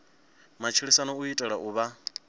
matshilisano u itela u vha